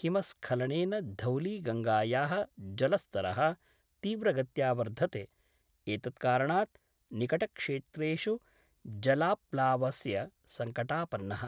हिमस्खलनेन धौलीगंगाया: जलस्तर: तीव्रगत्या वर्धते, एतत्कारणात् निकटक्षेत्रेषु जलाप्लावस्य संकटापन्नः।